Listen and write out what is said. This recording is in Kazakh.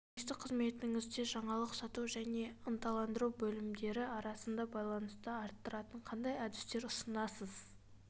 журналистік қызметіңізде жаңалық сату және ынталандыру бөлімдері арасында байланысты арттыратын қандай әдістер ұсынасыз